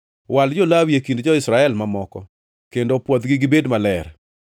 “Wal jo-Lawi e kind jo-Israel mamoko kendo pwodhgi gibed maler.